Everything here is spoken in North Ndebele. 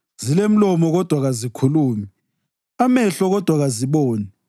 Zilemilomo, kodwa kazikhulumi, amehlo, kodwa kaziboni;